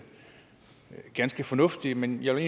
ganske fornuftigt men jeg vil